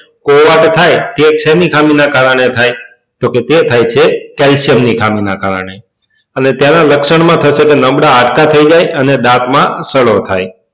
કોવાંક થાય તે શેની ખામી ના કારણે થાય તો કે તે થાય છે calcium ની ખામી ના કારણે અને તેના લક્ષણ માં થશે તો નબળા હાડકા થઇ જાય અને દાંત માં સડો થાય